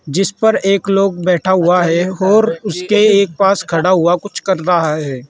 जिस पर एक लोग बैठा हुआ है और उसके एक पास खड़ा हुआ कुछ कर रहा है।